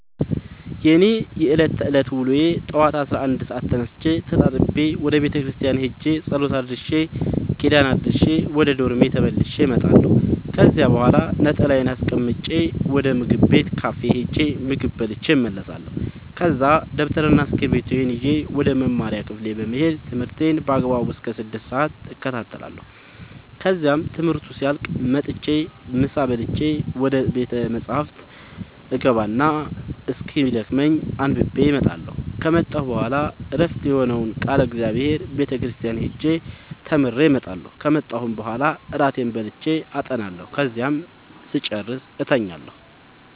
የእኔ የዕለት ተዕለት ውሎዬ ጠዋት አስራ አንድ ሰአት ተነስቼ ተጣጥቤ ወደ ቤተክርስቲያን ሄጄ ጸሎት አድርሼ ኪዳን አድርሼ ወደ ዶርሜ ተመልሼ እመጣለሁ ከዚያ በኋላ ነጠላዬን አስቀምጬ ወደ ምግብ ቤት ካፌ ሄጄ ምግብ በልቼ እመለሳለሁ ከዛ ደብተርና እስኪብርቶዬን ይዤ ወደ መማሪያ ክፍሌ በመሄድ ትምህርቴን በአግባቡ እስከ ስድስት ሰአት እከታተላለሁ ከዚያም ትምህርቱ ሲያልቅ መጥቼ ምሳ በልቼ ወደ ቤተ መፅሀፍ እገባ እና እስኪደክመኝ አንብቤ እመጣለሁ ከመጣሁ በኋላ ዕረፍት የሆነውን ቃለ እግዚአብሔር ቤተ ክርስቲያን ሄጄ ተምሬ እመጣለሁ ከመጣሁም በኋላ እራቴን በልቼ አጠናለሁ ከዚያም ስጨርስ እተኛለሁ።